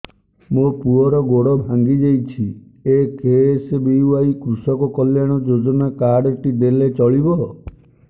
ମୋ ପୁଅର ଗୋଡ଼ ଭାଙ୍ଗି ଯାଇଛି ଏ କେ.ଏସ୍.ବି.ୱାଇ କୃଷକ କଲ୍ୟାଣ ଯୋଜନା କାର୍ଡ ଟି ଦେଲେ ଚଳିବ